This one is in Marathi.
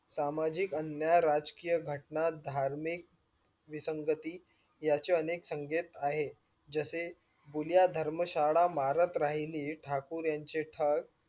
सामजिक आणि राजकीय घटना धार्मिक विस्न्ग्तीती याचे अनेक सकेत आहे, जसे जुन्या धर्म श्याल मारत राहिली ठाकूर यांचे ठग